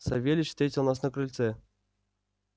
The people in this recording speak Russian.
савельич встретил нас на крыльце